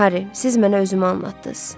Harri, siz mənə özümü anlatdınız.